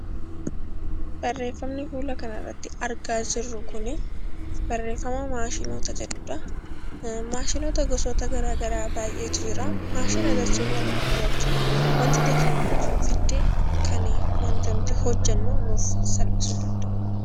Maashinoota gosoota garaagaraa baay'eetu jira. Maashina jechuun walumaa galatti wanta teekinooloojiin fidde kan wanta nuti hojjannu salphisuu danda'udha.